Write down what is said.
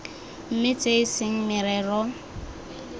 mme tse e seng merero